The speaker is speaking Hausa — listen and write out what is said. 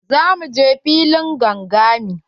Za mu je filin gangami.